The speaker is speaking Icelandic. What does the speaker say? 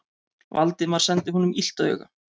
Valdimar sendi honum illt auga.